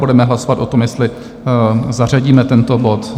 Budeme hlasovat o tom, jestli zařadíme tento bod.